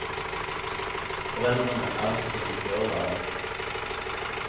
Foreldrene er ikke som de bør være.